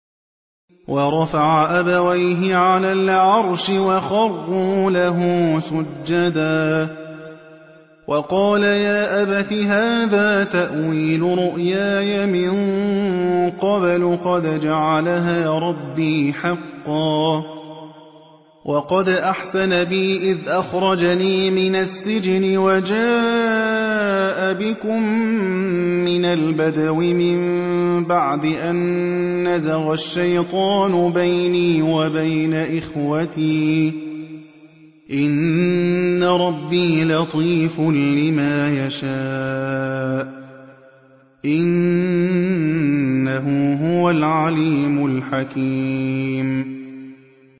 وَرَفَعَ أَبَوَيْهِ عَلَى الْعَرْشِ وَخَرُّوا لَهُ سُجَّدًا ۖ وَقَالَ يَا أَبَتِ هَٰذَا تَأْوِيلُ رُؤْيَايَ مِن قَبْلُ قَدْ جَعَلَهَا رَبِّي حَقًّا ۖ وَقَدْ أَحْسَنَ بِي إِذْ أَخْرَجَنِي مِنَ السِّجْنِ وَجَاءَ بِكُم مِّنَ الْبَدْوِ مِن بَعْدِ أَن نَّزَغَ الشَّيْطَانُ بَيْنِي وَبَيْنَ إِخْوَتِي ۚ إِنَّ رَبِّي لَطِيفٌ لِّمَا يَشَاءُ ۚ إِنَّهُ هُوَ الْعَلِيمُ الْحَكِيمُ